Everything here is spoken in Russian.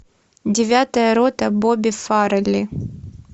девятая рота бобби фаррелли